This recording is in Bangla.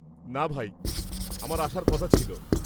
না ভাই, আমার আসার কথা ছিল।